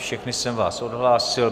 Všechny jsem vás odhlásil.